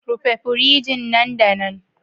Rufe firij nan da nan